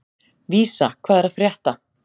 Vísa, hvað er að frétta?